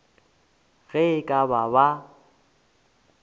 ge e ka ba ba